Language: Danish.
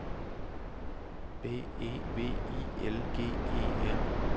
B E V I L G E R